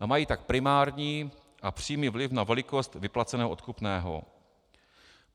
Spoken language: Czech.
a mají tak primární a přímý vliv na velikost vyplaceného odkupného.